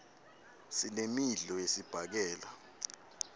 sinemidlo yesibhakela